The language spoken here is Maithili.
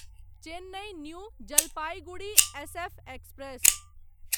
Chennai new Jalpaiguri SF express